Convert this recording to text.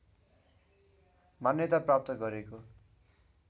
मान्यता प्राप्त गरेको